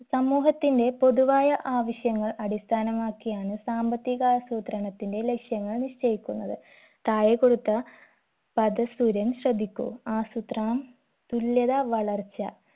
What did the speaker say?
സമൂഹത്തിന്റെ പൊതുവായ ആവശ്യങ്ങൾ അടിസ്ഥാനമാക്കിയാണ് സാമ്പത്തികാസൂത്രണത്തിന്റെ ലക്ഷ്യങ്ങൾ നിശ്ചയിക്കുന്നത് താഴെ കൊടുത്ത പദസൂര്യൻ ശ്രദ്ധിക്കൂ ആസൂത്രണം തുല്യത വളർച്ച